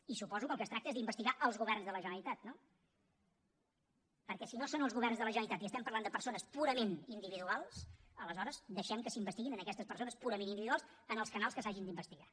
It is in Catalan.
i suposo que del que es tracta és d’investigar els governs de la generalitat no perquè si no són els governs de la generalitat i estem parlant de persones purament individuals aleshores deixem que s’investiguin aquestes persones purament individuals en els canals en què s’hagin d’investigar